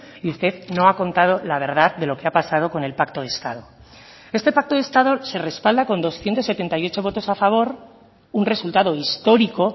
y usted no ha contado la verdad de lo que ha pasado con el pacto de estado este pacto de estado se respalda con doscientos setenta y ocho votos a favor un resultado histórico